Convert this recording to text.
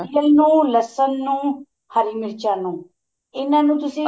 ਇਹਨੂੰ ਲਸਣ ਨੂੰ ਹਰੀ ਮੀਰਚਾ ਨੂੰ ਇਹਨਾ ਨੂੰ ਤੁਸੀਂ